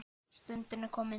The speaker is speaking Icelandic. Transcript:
Stundin er komin.